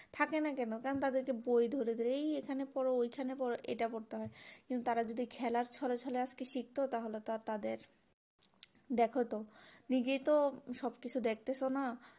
থাকেনা কেন কারণ তাদের কে বই ধরে ধরে এই এখানে পড়ো ঐখানে পড়ো এটা করতে হয় কিন্তু তারা যদি খেলার ছলে ছলে আজকে শিখতো তাহলে তো তাদের দেখো তো নিজেই তো সব কিছু দেখতেছো না